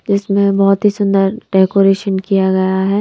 इसमें बहुत ही सुंदर डेकोरेशन किया गया है।